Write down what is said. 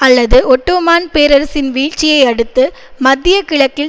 அல்லது ஒட்டோமான் பேரரசின் வீழ்ச்சியை அடுத்து மத்திய கிழக்கில்